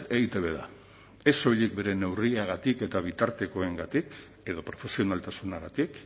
eitb da ez soilik bere neurriagatik eta bitartekoengatik edo profesionaltasunagatik